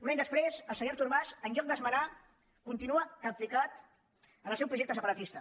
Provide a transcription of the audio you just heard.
un any després el senyor artur mas en lloc d’esmenar ho continua capficat en el seu projecte separatista